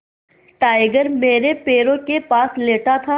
tiger मेरे पैरों के पास लेटा था